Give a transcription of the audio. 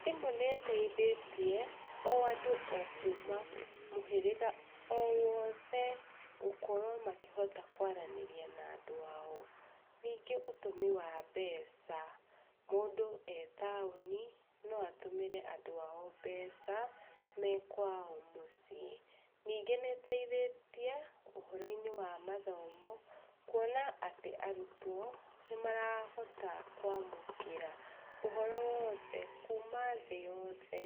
Thimũ nĩĩteithĩtie o andũ o kuma mũhĩrĩga o wothe gũkorwo makĩhota kwaranĩria na andũ ao. Ningĩ ũtũmi wa mbeca, mũndũ e taũni noatũmĩre andũ ao mbeca mekwao mũciĩ. Nyingĩ nĩteithĩtie ũhũro-inĩ wa mathomo, kuona atĩ arutwo nĩmarahota kwamũkĩra ũhoro wothe kuma thĩ yothe,